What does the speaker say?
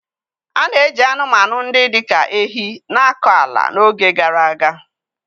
A na-eji anụmanụ ndị dị ka ehi na-akọ ala n'oge gara aga.